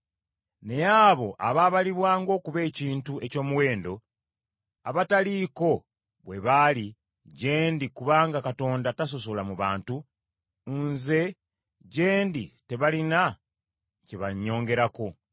Naye abo abaabalibwa ng’okuba ekintu eky’omuwendo, abataaliko bwe baali gye ndi kubanga Katonda tasosola mu bantu, nze gye ndi tebalina kye bannyongerako,